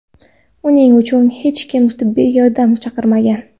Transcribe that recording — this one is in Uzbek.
Uning uchun hech kim tibbiy yordam chaqirmagan.